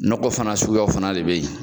Nagɔ fana suguyaw fana de bɛ yen.